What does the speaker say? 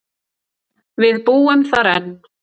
Við búum þar enn.